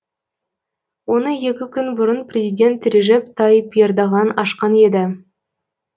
оны екі күн бұрын президент режеп тайып ердоған ашқан еді